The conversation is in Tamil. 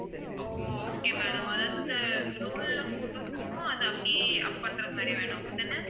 ஓ okay madam அதாவது இந்த roll ல photos இருக்கும் அதை அப்படியே up பண்றது மாதிரி வேணும் அப்படி தானே